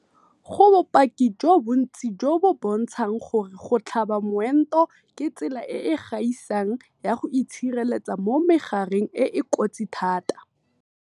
Go bopaki jo bontsi jo bo bontshang gore go tlhaba moento ke tsela e e gaisang ya go itshireletsa mo megareng e e kotsi thata.